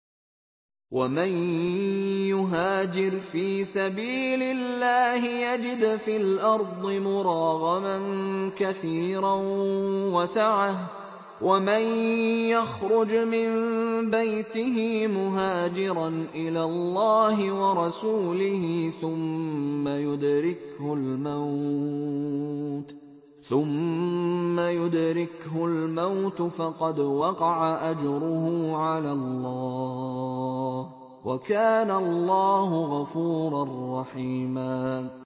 ۞ وَمَن يُهَاجِرْ فِي سَبِيلِ اللَّهِ يَجِدْ فِي الْأَرْضِ مُرَاغَمًا كَثِيرًا وَسَعَةً ۚ وَمَن يَخْرُجْ مِن بَيْتِهِ مُهَاجِرًا إِلَى اللَّهِ وَرَسُولِهِ ثُمَّ يُدْرِكْهُ الْمَوْتُ فَقَدْ وَقَعَ أَجْرُهُ عَلَى اللَّهِ ۗ وَكَانَ اللَّهُ غَفُورًا رَّحِيمًا